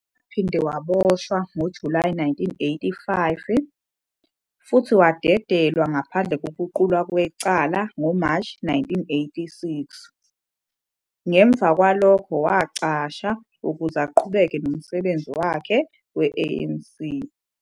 Waphinde waboshwa ngoJulayi 1985 futhi wadedelwa ngaphandle kokuqulwa kwecala ngoMashi 1986, ngemuva kwalokho wacasha ukuze aqhubeke nomsebenzi wakhe we-ANC.